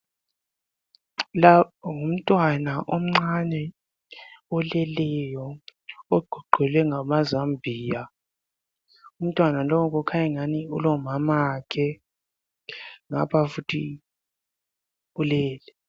Lapho ngumntwana omncane oleleyo ogoqelwe ngamazambiya umntwana lowu kukhanyingani ulomamakhe ngapha futhi ulele.